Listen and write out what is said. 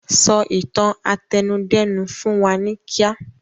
Sọ ìtàn àtẹnudẹ́nu fún wa ní kíá!